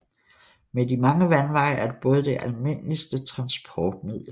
Med de mange vandveje er både det almindeligste transportmiddel